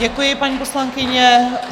Děkuji, paní poslankyně.